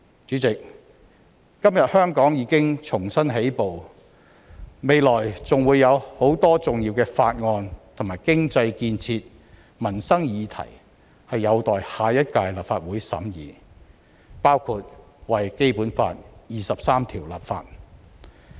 主席，今天香港已經重新起步，未來還會有很多重要的法案，以及經濟建設和民生議題有待下一屆立法會審議，包括為《基本法》第二十三條立法。